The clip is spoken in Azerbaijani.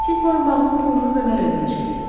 Siz boyunbağının pulunu Bömərə ödəyəcəksiniz.